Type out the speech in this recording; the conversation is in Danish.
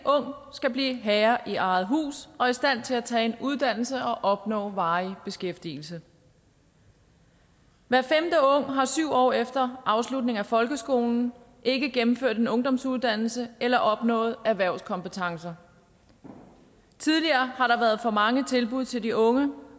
skal blive herre i eget hus og i stand til at tage en uddannelse og opnå varig beskæftigelse hver femte ung har syv år efter afslutningen af folkeskolen ikke gennemført en ungdomsuddannelse eller opnået erhvervskompetencer tidligere har der været for mange tilbud til de unge